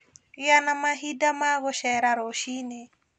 Gĩa na mahinda ma gũcera rũciinĩ